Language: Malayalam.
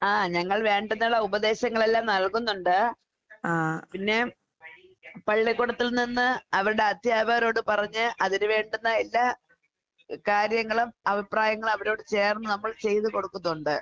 ആഹ് ഞങ്ങൾ വേണ്ടതെല്ലാം ഉപദേശങ്ങളെല്ലാം നൽകുന്നൊണ്ട്. പിന്നെ പള്ളിക്കൂടത്തിൽ നിന്ന് അവർടെ അധ്യാപകരോട് പറഞ്ഞ് അതിന് വേണ്ടുന്ന എല്ലാ എഹ് കാര്യങ്ങളും അഭിപ്രായങ്ങളും അവരോട് ചേർന്ന് നമ്മൾ ചെയ്ത് കൊടുക്കുന്നൊണ്ട്.